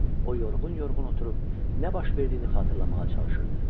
O yorğun-yorğun oturub nə baş verdiyini xatırlamağa çalışırdı.